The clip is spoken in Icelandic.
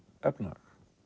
efnahag